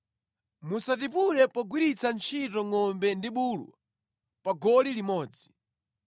Musatipule pogwiritsa ntchito ngʼombe ndi bulu pa goli limodzi.